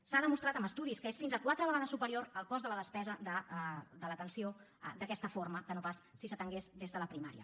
s’ha demostrat amb estudis que és fins a quatre vegades superior el cost de la despesa de l’atenció d’aquesta forma que no pas si s’atengués des de la primària